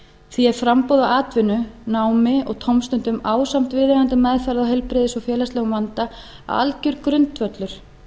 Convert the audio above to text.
því er framboð á atvinnu námi og tómstundum ásamt viðeigandi meðferð á heilbrigðis og félagslegum vanda algjör grundvöllur